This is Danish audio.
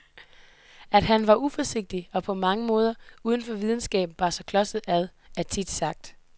At han var uforsigtig og på mange måder uden for videnskaben bar sig klodset ad, er sagt tit.